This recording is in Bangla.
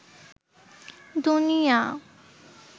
দুনিয়া